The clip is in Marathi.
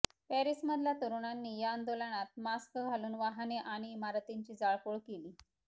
पॅरिसमधल्या तरुणांनी या आंदोलनात मास्क घालून वाहने आणि इमारतींची जाळपोळ केली